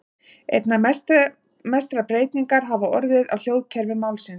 Einna mestar breytingar hafa orðið á hljóðkerfi málsins.